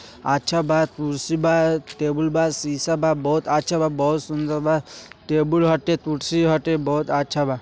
अच्छा बा कुर्सी बा टेबल बा शीश बा बहुत अच्छा बा बहुत सुंदर बा टेबल हटे कुर्सी हटे बहुत अच्छा बा।